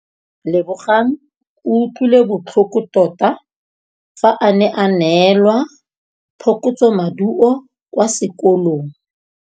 Lebogang o utlwile botlhoko tota fa a neelwa phokotsômaduô kwa sekolong.